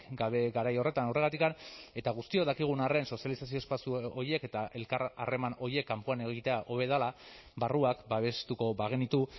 gabe garai horretan horregatik eta guztiok dakigun arren sozializazio espazio horiek eta elkar harreman horiek kanpoan egitea hobe dela barruak babestuko bagenitu